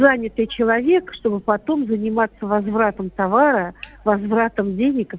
занятый человек чтобы потом заниматься возвратом товара возвратом денег